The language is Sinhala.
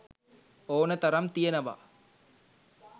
ඕනතරම් තියනව